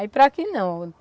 Aí para que não?